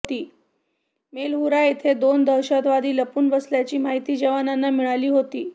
मेलहूरा इथे दोन दहशतवादी लपून बसल्याची माहिती जवानांना मिळाली होती